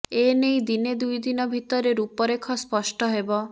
ଏ ନେଇ ଦିନେ ଦୁଇଦିନ ଭିତରେ ରୂପରେଖ ସ୍ପଷ୍ଟ ହେବ